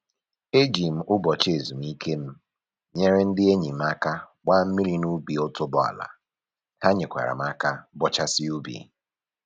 E ji m ụbọchị ezumike m nyere ndị enyi m aka gbaa mmiri n'ubi otuboala, ha nyekwara m aka bọchasịa ubi